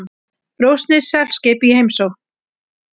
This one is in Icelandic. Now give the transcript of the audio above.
Rússneskt seglskip í heimsókn